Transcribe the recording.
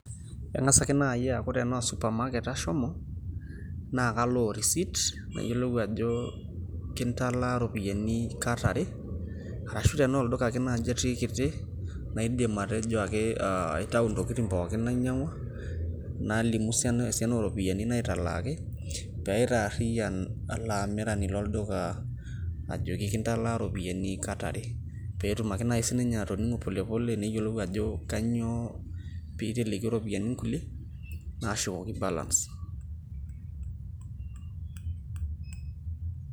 kang'as ake naaji aku tenaa osupamaket ashomo nakalo we receipt nayielou ajo kintalaa iropiyiani kata are arashu tenaa olduka ake naaji atii kiti laidim atejo ake aitau intokitin ake nainyang'u ,nalimu esiana ooroopiyiani naatalakii pee aitarian olaamirani loduka ajoki kitalaa iroopiyiani kata are pee etum ake siininye atoning'u pole pole, neyielou ajo kainyoo pee telekio iropiyiani inkuliek naashukoki balance.